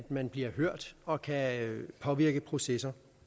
man bliver hørt og kan påvirke processer